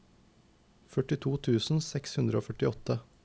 førtito tusen seks hundre og førtiåtte